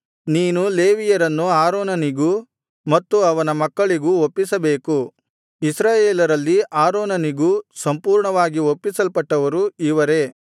ನೀನು ಲೇವಿಯರನ್ನು ಆರೋನನಿಗೂ ಮತ್ತು ಅವನ ಮಕ್ಕಳಿಗೂ ಒಪ್ಪಿಸಬೇಕು ಇಸ್ರಾಯೇಲರಲ್ಲಿ ಆರೋನನಿಗೆ ಸಂಪೂರ್ಣವಾಗಿ ಒಪ್ಪಿಸಲ್ಪಟ್ಟವರು ಇವರೇ